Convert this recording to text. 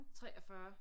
43